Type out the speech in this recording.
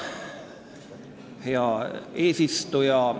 Hea eesistuja!